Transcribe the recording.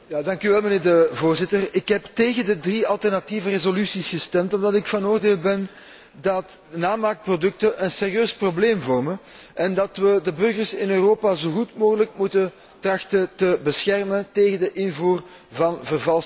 Voorzitter, ik heb tegen de drie alternatieve resoluties gestemd omdat ik van oordeel ben dat namaakproducten een serieus probleem vormen en dat we de burgers in Europa zo goed mogelijk moeten trachten te beschermen tegen de invoer van vervalste goederen.